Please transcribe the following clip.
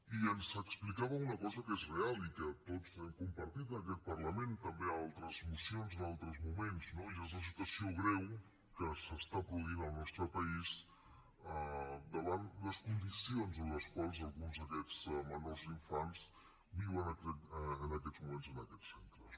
i ens explicava una cosa que és real i que tots hem compartit en aquest parlament també en altres mocions en altres moments no i és la situació greu que s’està produint al nostre país davant les condicions en les quals alguns d’aquests menors o infants viuen en aquests moments en aquests centres